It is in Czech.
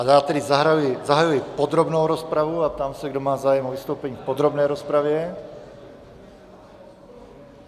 A já tedy zahajuji podrobnou rozpravu a ptám se, kdo má zájem o vystoupení v podrobné rozpravě.